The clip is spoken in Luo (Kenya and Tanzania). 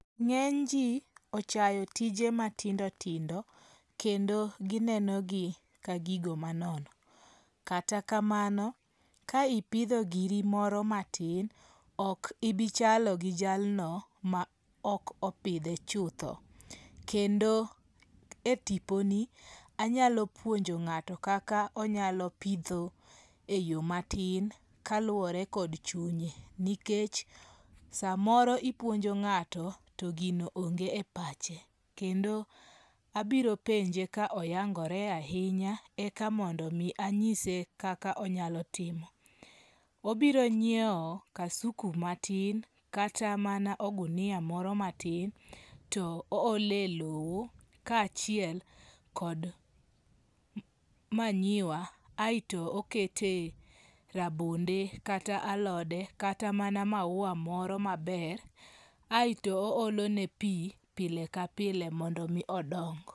Nge'ny ji ochayo tije matindo tindo, kendo ginenogi ka gigo manono, kata kamano kae ipitho giri moro matin , ok ibichalo gi jalno ma ok opithe chutho, kendo e tiponi anyalo puonjo ngat'o kaka onyalo pitho e yo matin kaluwore kod chunye nikech samoro ipuonjo nga'to to gino onge' e pache, kendo abiro penje ka oyangore ahinya ekamondo mi anyise kaka onyalo timo, obiro nyiewo kasuku matin kata mana ogunia moro matin to ohole lowo kachiel kod manyiwa aeto okete rabonde kata alode kata mana maua moro maber aeto oholone pi pile kapile mondo mi odok